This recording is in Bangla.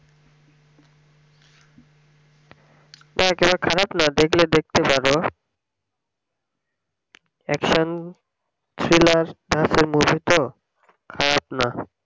হ্যাঁ কেন খারাপ না দেখলে দেখতে পারো action thriller movie তো খারাপ না